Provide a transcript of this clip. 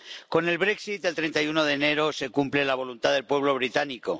Con el Brexit el 31 de enero se cumple la voluntad del pueblo británico.